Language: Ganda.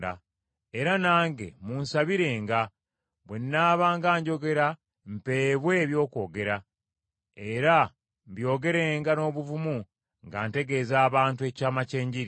Era nange munsabirenga bwe nnaabanga njogera mpeebwe eby’okwogera, era mbyogerenga n’obuvumu nga ntegeeza abantu ekyama ky’Enjiri.